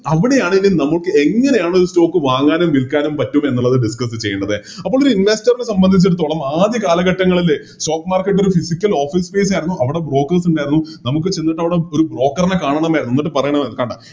അവിടെയാണ് നമുക്കെങ്ങനെയാണോ Stock വാങ്ങാനും വിൽക്കാനും പറ്റുന്നത് എന്ന് Discuss ചെയ്യേണ്ടത് അപ്പൊരി Investor നെ സംബന്ധിച്ചെടുത്തോളം ആദ്യ കാലഘട്ടങ്ങളില് Stock market ഒരു Physical office space ആയിരുന്നു അവിടെ Brokers ഉണ്ടായിരുന്നു നമുക്ക് ചെന്നിട്ടവിടെ ഒരു Broker നെ കാണണമായിരുന്നു എന്നിട്ട് പറയണമായിരുന്നു കണ്ട